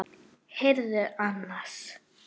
Heyrðu annars.